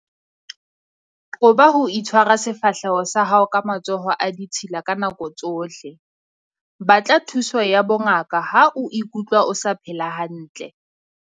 Qoba ho tshwara sefahleho sa hao ka matsoho a ditshila ka nako tsohle. Batla thuso ya bongaka ha o ikutlwa o sa phela hantle.